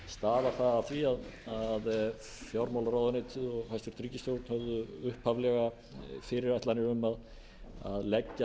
stafar það af því að fjármálaráðuneytið og hæstvirt ríkisstjórn höfðu upphaflega fyrirætlanir um að leggja